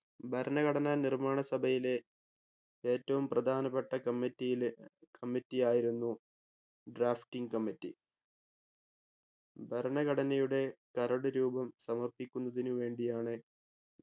ഭരണഘടനാ നിർമ്മാണ സഭയിലെ ഏറ്റവും പ്രധാനപ്പെട്ട committee യിലെ committee ആയിരുന്നു drafting committee ഭരണഘടനയുടെ കരട് രൂപം സമർപ്പിക്കുന്നതിനു വേണ്ടിയാണ്